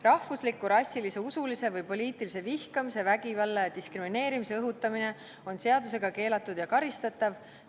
Rahvusliku, rassilise, usulise või poliitilise vihkamise, vägivalla ja diskrimineerimise õhutamine on seadusega keelatud ja karistatav.